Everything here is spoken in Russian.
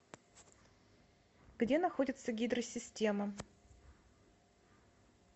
где находится гидро система